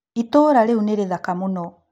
Itũũra rĩu nĩ rĩthaka mũno.